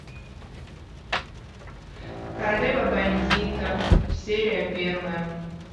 королева бандитов серия первая